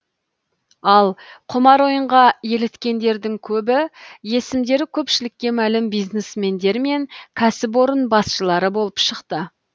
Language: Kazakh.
ал құмар ойынға еліткендердің көбі есімдері көпшілікке мәлім бизнесмендер мен кәсіпорын басшылары болып шықты